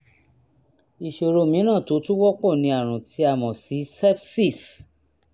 ìṣòro mìíràn tó tún wọ́pọ̀ ni àrùn tí a mọ̀ sí sepsis